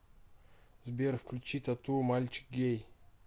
сбер включи т а т у мальчик гей